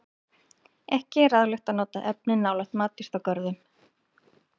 Ekki er ráðlegt að nota efnið nálægt matjurtagörðum.